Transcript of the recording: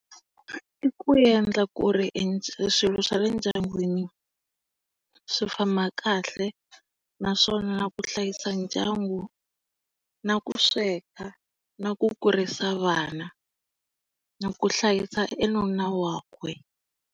I ku endla ku ri e swilo swa le ndyangwini swi famba kahle naswona na ku hlayisa ndyangu na ku sweka, na ku kurisa vana, na ku hlayisa e nuna wakwe.